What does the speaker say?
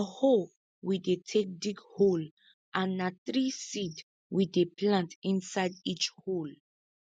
na hoe we dey take dig hole and na three seed we dey plant inside each hole